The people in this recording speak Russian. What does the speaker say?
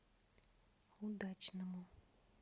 удачному